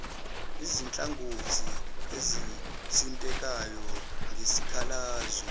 izinhlangothi ezithintekayo ngesikhalazo